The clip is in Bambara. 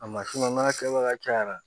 A masina n'a kɛbaga cayara